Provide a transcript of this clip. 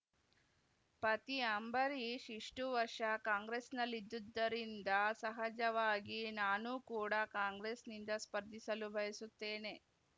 ಪತಿ ಅಂಬರೀಷ್‌ ಇಷ್ಟುವರ್ಷ ಕಾಂಗ್ರೆಸ್‌ನಲ್ಲಿದ್ದುದರಿಂದ ಸಹಜವಾಗಿ ನಾನೂ ಕೂಡ ಕಾಂಗ್ರೆಸ್‌ನಿಂದ ಸ್ಪರ್ಧಿಸಲು ಬಯಸುತ್ತೇನೆ